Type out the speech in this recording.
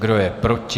Kdo je proti?